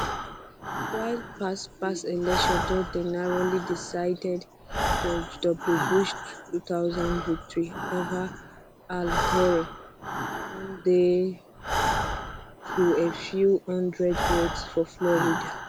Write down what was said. while past past elections don dey narrowly decided george w bush two thousand victory ova al gore come down to a few hundred votes for florida